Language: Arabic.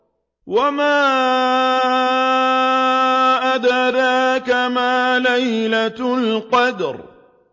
وَمَا أَدْرَاكَ مَا لَيْلَةُ الْقَدْرِ